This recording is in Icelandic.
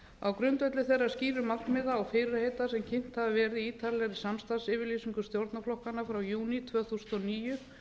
á grundvelli þeirra skýru markmiða og fyrirheita sem kynnt hafa verið í ítarlegri samstarfsyfirlýsingu stjórnarflokkanna frá júní tvö þúsund og níu